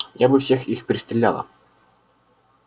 я бы всех их перестреляла